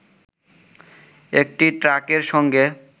একটি ট্রাকের সঙ্গে